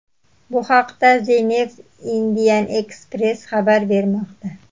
Bu haqda The New Indian Express xabar bermoqda .